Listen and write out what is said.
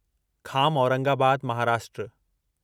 Kham Aurangabad Maharashtra